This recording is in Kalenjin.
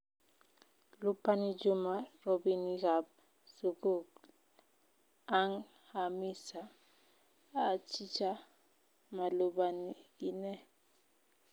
Lupani Juma robinikab sugul, Ang Hamisa?"Achicha, malupani ine."